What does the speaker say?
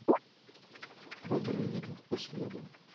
бобры идут по следу